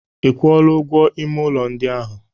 Ị kwụọla ụgwọ ime ụlọ ndị ahụ?